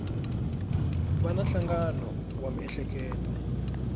va na nhlangano wa miehleketo